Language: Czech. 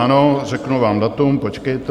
Ano, řeknu vám datum, počkejte.